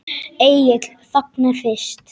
Egill þagnar fyrst.